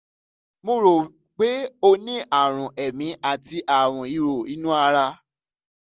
mo rò pé ó ní àrùn èémí àti àrùn ìhò inú ara